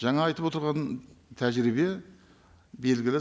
жаңа айтып отырған тәжірибе белгілі